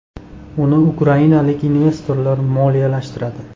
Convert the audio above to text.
Uni ukrainalik investorlar moliyalashtiradi.